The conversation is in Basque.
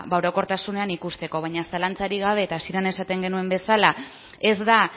orokortasunean ikusteko baina zalantzarik gabe eta hasieran esaten genuen bezala ez da